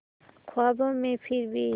ख्वाबों में फिर भी